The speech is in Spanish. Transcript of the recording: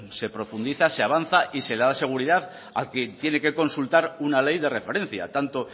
se profundiza se avanza y se le da seguridad a quien tiene que consultar una ley de referencia tanto